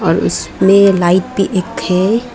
और इस में लाइट भी एक है।